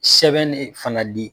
Sɛbɛn ne fana di.